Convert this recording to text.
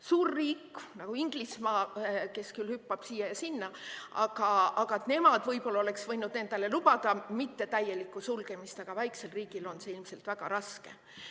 Suur riik nagu Inglismaa, kes küll hüppab siia ja sinna, nemad võib-olla oleks võinud endale lubada mittetäielikku sulgemist, aga väiksel riigil on see ilmselt väga raske.